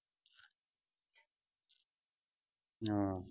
ਹਾਂ।